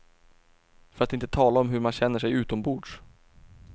För att inte tala om hur man känner sig utombords.